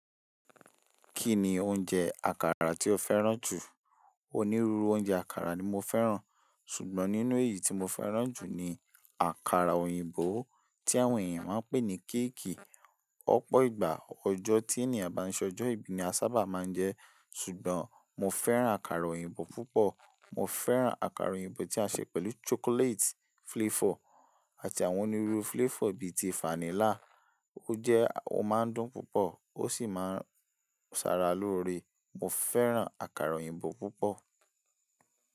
Kí ni oúnjẹ àkàrà tí o fẹ́ràn jù? Onírúurú oúnjẹ àkàrà ni mo fẹ́ràn. Ṣùgbọ́n nínú èyí tí mo fẹ́ràn jù ni àkàrà òyìnbó tí àwọn ènìyàn máa ń pè ní kéèkì. Ọ̀pọ̀ ìgbà ọjọ́ tí ènìyàn bá ń ṣọjọ́ ìbí ni a sábà máa ń jẹ ẹ́. Ṣùgbọ́n mo fẹ́ràn àkàrà òyìnbó púpọ̀. Mo fẹ́ràn àkàrà òyìnbó tí a ṣe pẹ̀lú chocolate flavor àti àwọn onírúurú flavor bíi ti fánílà. Ó jẹ́, o máa ń dùn púpọ̀, ó sì máa ń ṣàrà lóre. Mo fẹ́ràn àkàrà òyìnbó púpọ̀.